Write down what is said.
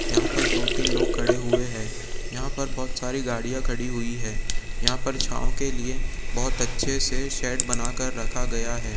यहां पर दो-तीन लोग खड़े हुए हैं यहां पर बहुत सारी गाड़ियां खड़ी हुई है यहां पर छांव के लिए बहुत अच्छे से शेड बनाकर रखा गया है।